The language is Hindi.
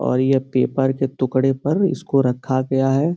और ये पेपर के टुकड़े पर इसको रखा गया है।